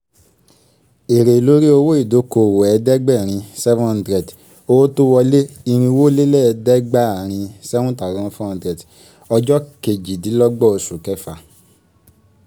èrè lórí owó ìdókòwò ẹ̀ẹ́dẹ́gbẹ̀erin seven hundred owó tó wọlé irínwólélẹ́ẹ̀dẹ́gbaarin seven thousand four hundred ọjọ́ kejìdínlọ́gbọ́n oṣù kẹfà